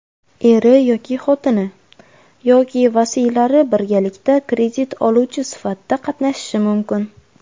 eri yoki xotini) yoki vasiylari birgalikda kredit oluvchi sifatida qatnashishi mumkin.